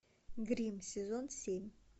гримм сезон семь